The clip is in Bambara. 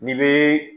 N'i bɛ